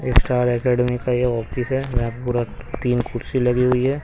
ये star academy का ये ऑफिस है वहां पूरा तीन कुर्सी लगी हुई है.